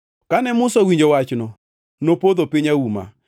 Kane Musa owinjo wachno, nopodho piny auma.